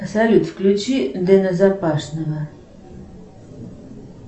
салют включи дена запашного